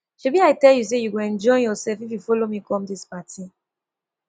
shebi i tell you say you go enjoy yourself if you follow me come dis party